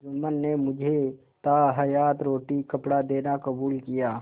जुम्मन ने मुझे ताहयात रोटीकपड़ा देना कबूल किया